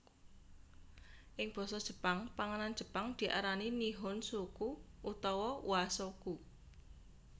Ing basa Jepang panganan jepang diarani nihonshoku utawa washoku